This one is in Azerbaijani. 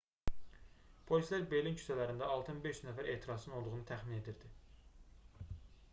polislər berlin küçələrində 6500 nəfər etirazçının olduğunu təxmin edirdi